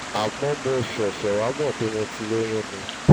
àmọ́ mo ṣẹ̀ṣẹ̀ wá mọ̀ pé mo ti lóyún ni